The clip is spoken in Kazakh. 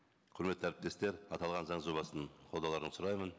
құрметті әріптестер аталған заң жобасын қолдауларыңызды сұраймын